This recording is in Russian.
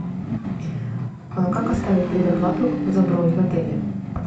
как оставить предоплату за бронь в отеле